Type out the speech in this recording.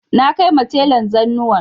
Na kaima telan zanuwan